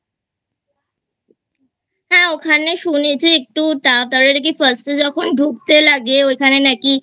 হ্যাঁ ওখানে শুনেছি একটু First এ যখন ঢুকতে লাগে ওখানে নাকি